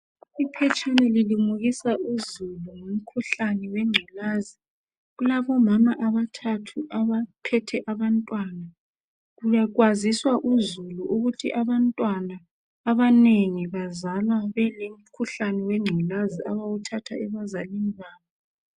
Iphetshana lilimukisa uzulu ngomkhuhlani wengculaza .Kulabomama abathathu abaphethe abantwana ,kwaziswa uzulu ukuthu abantwana abanengi bazalwa belomkhuhlani wengculaza abawuthatha ebazalini babo.